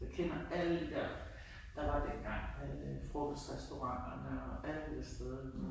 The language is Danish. Jeg kender alle de der der var dengang alle frokostrestauranterne og alle stederne